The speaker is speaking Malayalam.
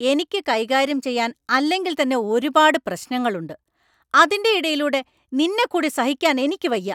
എനിക്ക് കൈകാര്യം ചെയ്യാൻ അല്ലെങ്കിൽത്തന്നെ ഒരുപാട് പ്രശ്നങ്ങളുണ്ട്; അതിൻ്റെ ഇടയിലൂടെ നിന്നെക്കൂടി സഹിക്കാൻ എനിക്ക് വയ്യ!